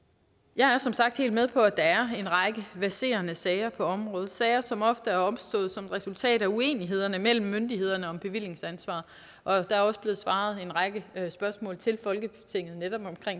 jeg er som sagt helt med på at der er en række verserende sager på området sager som ofte er opstået som resultat af uenigheder mellem myndighederne om bevillingsansvar og der er også blevet svaret på en række spørgsmål til folketinget netop